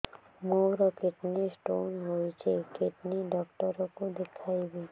ମୋର kidney stone ହେଇଛି kidney doctor କୁ ଦେଖାଇବି